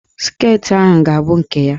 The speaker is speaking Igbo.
Sket ahụ ga-abụ nke ya!